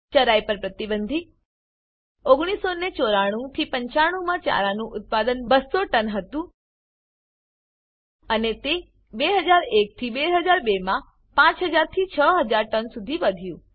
ચરાઈ પર પ્રતિબંધ 1994 95 માં ચારનું ઉદ્પાદ્ન 200 ટન હતું અને તે 2001 2002 માં 5000 6000 ટન સુધી વધ્યું